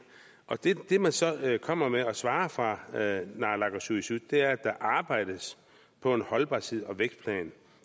det man så kommer med og svarer fra naalakkersuisuts side er at der arbejdes på en holdbarheds og vækstplan